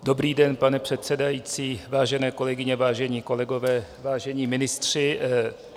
Dobrý den, pane předsedající, vážené kolegyně, vážení kolegové, vážení ministři.